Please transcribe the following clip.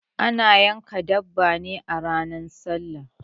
Ana yanka dabba ne a ranar sallah